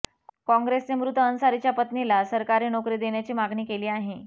कॉंग्रेसने मृत अन्सारीच्या पत्नीला सरकारी नोकरी देण्याची मागणी केली आहे